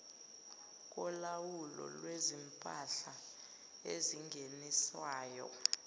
kolawulo lwezimpahla ezingeniswayo